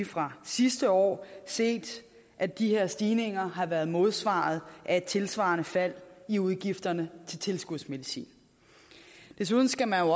fra sidste år set at de her stigninger har været modsvaret af et tilsvarende fald i udgifterne til tilskudsmedicin desuden skal man